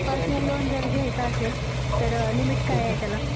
Personal loan जर घ्यायचं असेल तर लिमिट काय आहे त्याला?